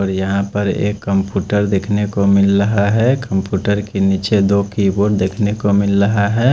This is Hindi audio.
और यहाँ पर एक कम्प्यूटर देखने को मिल रहा है कम्प्यूटर के नीचे दो की बोर्ड देखने को मिल रहा है।